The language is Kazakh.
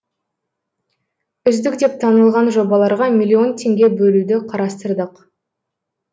үздік деп танылған жобаларға миллион теңге бөлуді қарастырдық